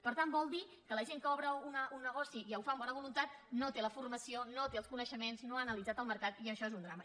per tant vol dir que la gent que obre un negoci i ho fa amb bona voluntat no té la formació no té els coneixements no ha analitzat el mercat i això és un drama